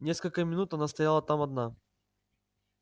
несколько минут она стояла там одна